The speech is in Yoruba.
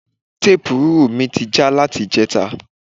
Tepurúrù mi ti já láti ìjẹta